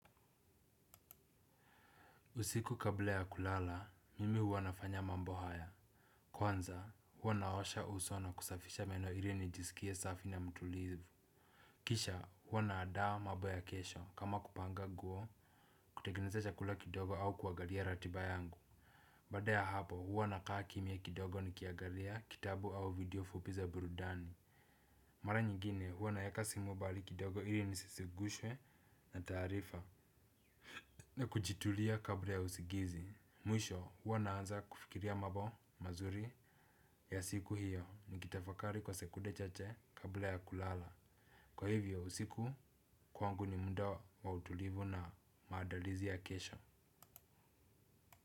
Usiku kabla ya kulala, mimi huwa nafanya mambo haya. Kwanza, huwa naosha uso na kusafisha meno ili nijisikie safi na mtulivu. Kisha, huwa naandaa mambo ya kesho kama kupanga nguo, kutengeneza chakula kidogo au kuangalia ratiba yangu. Baada ya hapo, huwana kaa kimya kidogo nikiangalia kitabu au video fupi za burudani. Mara nyingine, huwa naweka simu mbali kidogo ili nisizungushwe na taarifa. Na kujitulia kabla ya usingizi. Mwisho, huwa naanza kufikiria mambo mazuri ya siku hiyo nikitafakari kwa sekunde chache kabla ya kulala. Kwa hivyo usiku kwangu ni muda wa utulivu na maandalizi ya kesho.